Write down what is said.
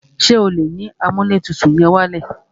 Ṣé o lè yín amúlẹ̀tutù yẹn wálẹ̀?